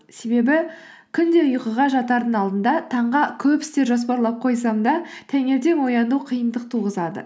себебі күнде ұйқыға жатардың алдында таңға көп істер жоспарлап қойсам да таңертең ояну қиындық туғызады